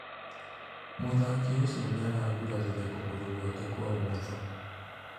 Muthaki ũcio nĩaragurarire kũgũrũ gwake kwa ũmotho